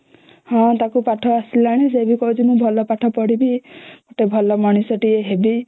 ହଁ ତାକୁ ପାଠ ଆସିଲାଣି ଆଉ ସେ ବି କହୁଛି ମୁ ଭଲ ପାଠ ପଢ଼ିବି ତ ଭଲ ମଣିଷ ଟେ ହେବି